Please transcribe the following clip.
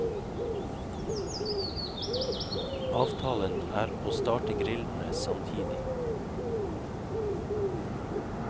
Avtalen er å starte grillene samtidig.